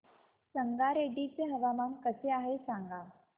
संगारेड्डी चे हवामान कसे आहे सांगा